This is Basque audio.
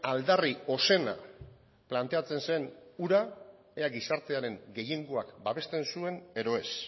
aldarri ozena planteatzen zen hura ea gizartearen gehiengoak babesten zuen edo ez